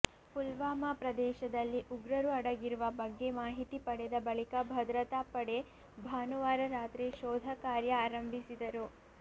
ಪುಲ್ವಾಮ ಪ್ರದೇಶದಲ್ಲಿ ಉಗ್ರರು ಅಡಗಿರುವ ಬಗ್ಗೆ ಮಾಹಿತಿ ಪಡೆದ ಬಳಿಕ ಭದ್ರತಾಪಡೆ ಭಾನುವಾರ ರಾತ್ರಿ ಶೋಧ ಕಾರ್ಯ ಆರಂಭಿಸಿದರು